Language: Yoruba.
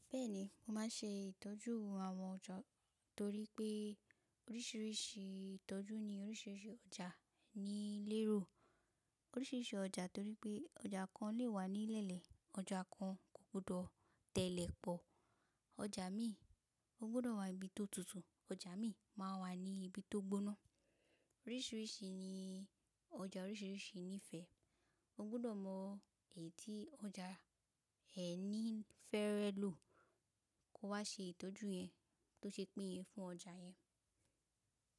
Bẹ́ẹ̀ni, mo máa ṣe ìtọ́jú àwọn ọjà torí pé oríṣiríṣi ìtọ́jú ni oríṣiríṣi ọjà ní lé ro. Oríṣiríṣi ọjà torí pé ọjà kan lè wà ní lẹ́lẹ̀, ọjà kan kò gbọdọ̀ tẹ́lẹ̀ pọ̀. Ọjà míì ò gbọdọ̀ wà ibi tó tutù, ọjà míì máa wà ní ibi tó gbóná. Oríṣiríṣi ni ọjà oríṣiríṣi nífẹ̀ẹ́. O gbọdọ̀ mọ èyí tí ọjà ẹ níí fẹ́rẹ̀ lọ, kó wá ṣe ìtọ́jú yẹn, tó ṣe pín yẹn fún ọjà yẹn.